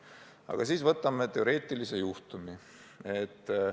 Aga vaatame ühte teoreetilist juhtumit.